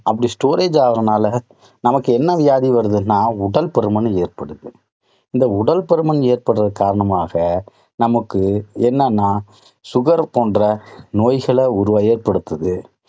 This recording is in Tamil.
அப்படி storage ஆறதனால நமக்கு என்ன வியாதி வருதுன்னா உடற்பருமன் ஏற்படுது. இந்த உடல் பருமன் ஏற்பட காரணமாக நமக்கு என்னென்னா sugar போன்ற நோய்களை உருவா ஏற்படுத்துது.